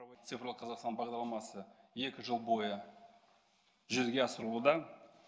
цифрлы қазақстан бағдарламасы екі жыл бойы жүзеге асырылуда